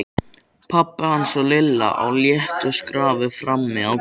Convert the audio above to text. Pabbi hans og Lilla á léttu skrafi frammi á gangi.